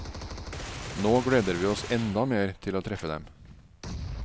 Nå gleder vi oss enda mer til å treffe dem.